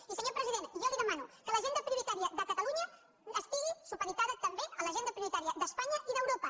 i senyor president jo li demano que l’agenda priori·tària de catalunya estigui supeditada també a l’agen·da prioritària d’espanya i d’europa